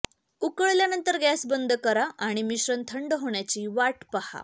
उकळल्यानंतर गॅस बंद करा आणि मिश्रण थंड होण्याची वाट पाहा